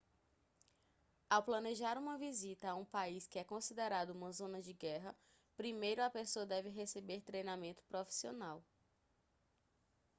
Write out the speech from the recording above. ao planejar uma visita a um país que é considerado uma zona de guerra primeiro a pessoa deve receber treinamento profissional